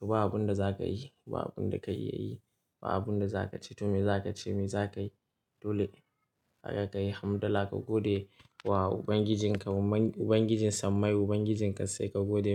To ba abun da za ka yi, ba abun da ka iya yi, ba abun da za ka ce to me za ka ce, me za ka yi? Dole haka ka yi hamdala ka gode wa Ubangijinka, Ubangiji Sammai Ubangijin kassai ka gode.